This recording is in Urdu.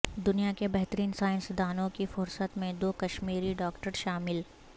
دنیا کے بہترین سائنسدانوں کی فہرست میں دو کشمیری ڈاکٹر شامل